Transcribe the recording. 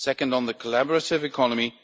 second, on the collaborative economy